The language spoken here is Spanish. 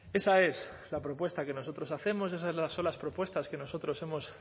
esa es la propuesta que nosotros hacemos esas son las propuestas que nosotros hemos